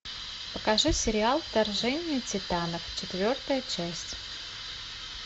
покажи сериал вторжение титанов четвертая часть